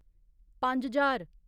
पंज ज्हार